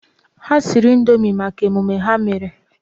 Ha siri Indoomi maka mmemme ha mere.